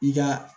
I ka